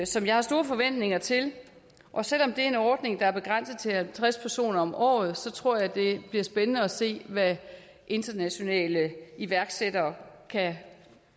som jeg har store forventninger til og selv om det er en ordning der er begrænset til at omfatte halvtreds personer om året så tror jeg det bliver spændende at se hvad internationale iværksættere kan